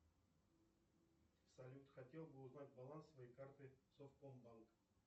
салют хотел бы узнать баланс своей карты совкомбанк